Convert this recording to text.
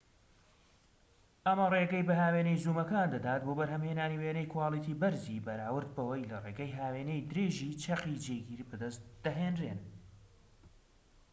ئەمە ڕێگەی بە هاوێنەی زوومەکان دەدات بۆ بەرهەمهێنانی وێنەی کواڵیتی بەرزی بەراورد بەوەی لە ڕێگەی هاوێنەی درێژیی چەقی جێگیر بەدەست دەهێنرێن